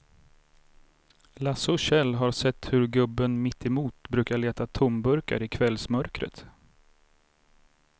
Lasse och Kjell har sett hur gubben mittemot brukar leta tomburkar i kvällsmörkret.